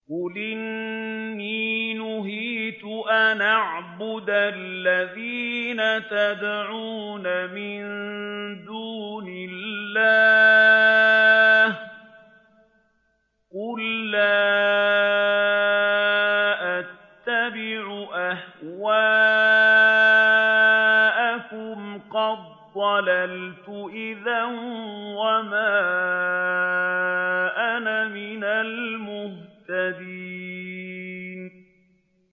قُلْ إِنِّي نُهِيتُ أَنْ أَعْبُدَ الَّذِينَ تَدْعُونَ مِن دُونِ اللَّهِ ۚ قُل لَّا أَتَّبِعُ أَهْوَاءَكُمْ ۙ قَدْ ضَلَلْتُ إِذًا وَمَا أَنَا مِنَ الْمُهْتَدِينَ